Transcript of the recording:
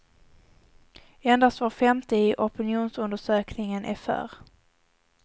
Endast var femte i opinionsundersökningen är för.